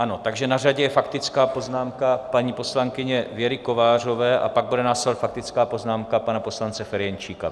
Ano, takže na řadě je faktická poznámka paní poslankyně Věry Kovářové a pak bude následovat faktická poznámka pana poslance Ferjenčíka.